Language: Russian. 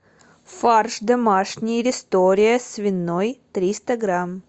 фарш домашний рестория свиной триста грамм